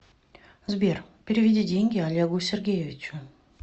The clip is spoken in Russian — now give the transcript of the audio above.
сбер переведи деньги олегу сергеевичу